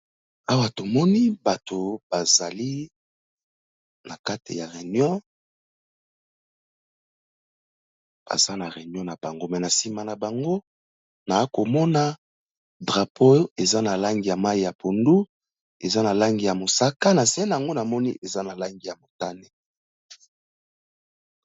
Awa to moni bato ba zali na kati ya reunion, baza na reunion na bango mais na sima na bango, na ko mona drapeau eza na langi ya mayi ya pondu, eza na langi ya mosaka, na se n'ango na moni eza na langi ya motane .